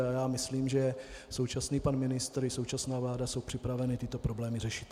A já myslím, že současný pan ministr i současná vláda jsou připraveni tyto problémy řešit.